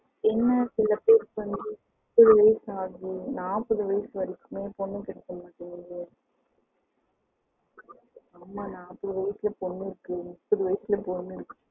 என்ன சில பேருக்கு வந்துட்டு நாப்பது வயசு வரைக்குமே பொண்ணு கிடைக்க மாட்டிக்குது ஆமா நாப்பது வயசுலயும் பொண்ணு இருக்கு முப்பது வயசுலயும் பொண்ணு இருக்கு